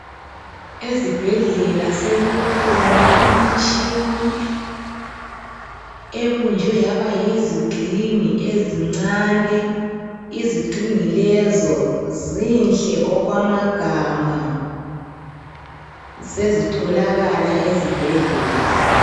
Ezibhedlela sekukhona imitshini ebunjwe yaba yizigxingi ezincane, izigxingi lezo zinhle okwamagama sezitholakala ezibhedlela.